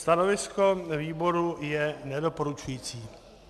Stanovisko výboru je nedoporučující.